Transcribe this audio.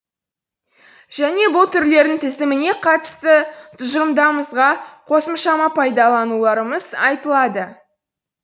және бұл түрлердің тізіміне қатысты тұжырымдарымызға қосымшапайымдауларымыз айтылады